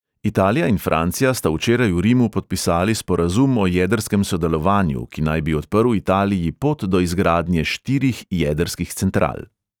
Italija in francija sta včeraj v rimu podpisali sporazum o jedrskem sodelovanju, ki naj bi odprl italiji pot do izgradnje štirih jedrskih central.